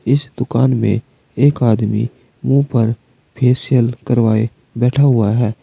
इस दुकान में एक आदमी मुंह पर फेशियल करवाए बैठा है।